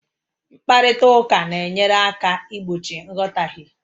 Mkparịta ụka na-enyere aka igbochi nghọtahie